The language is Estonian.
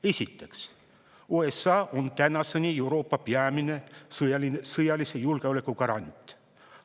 Esiteks, USA on tänaseni Euroopa peamine sõjalise julgeoleku garant.